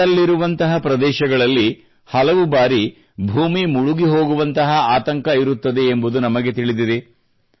ದಡದಲ್ಲಿರುವಂತಹ ಪ್ರದೇಶಗಳಲ್ಲಿ ಹಲವು ಬಾರಿ ಭೂಮಿ ಮುಳುಗಿ ಹೋಗುವಂತಹ ಆತಂಕ ಇರುತ್ತದೆ ಎಂಬುದು ನಮಗೆ ತಿಳಿದಿದೆ